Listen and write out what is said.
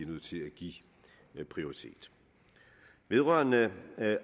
nødt til at give prioritet vedrørende